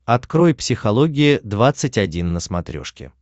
открой психология двадцать один на смотрешке